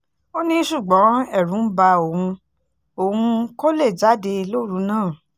ó ní ṣùgbọ́n ẹ̀rù ń ba òun òun kó lè jáde lóru náà